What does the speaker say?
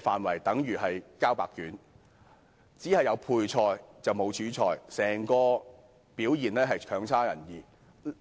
方面的措施如同"交白卷"，只有配菜而沒有主菜，整體表現是差勁的。